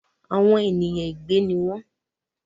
Àwọn ènìyàn ègbè ni wọn